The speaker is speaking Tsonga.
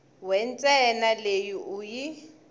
we ntsena leyi u yi